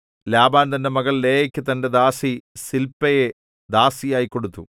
Laban തന്റെ മകൾ ലേയാക്ക് തന്റെ ദാസി സില്പയെ ദാസിയായി കൊടുത്തു